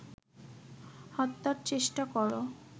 হত্যার চেষ্টা কর